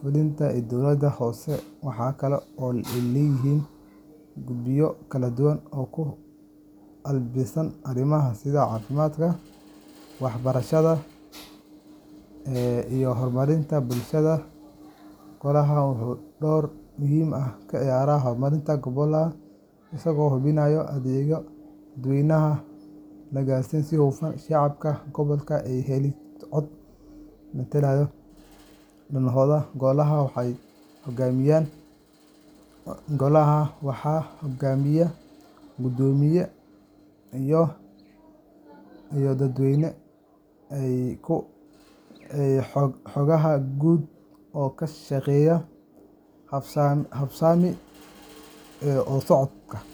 fulinta ee dowladda hoose. Waxaa kale oo ay leeyihiin guddiyo kala duwan oo u qaabilsan arrimaha sida caafimaadka, waxbarashada, deegaanka, iyo horumarinta bulshada. Golaha wuxuu door muhiim ah ka ciyaaraa horumarinta gobolka isagoo hubinaya in adeegyada dadweynaha la gaarsiiyo si hufan, shacabka gobolkuna ay helaan cod ku metela danahooda. Golaha waxaa hogaamiya guddoomiye iyo xoghayaha guud oo ka shaqeeya habsami oo socodka howlaha golaha.